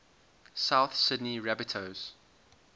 south sydney rabbitohs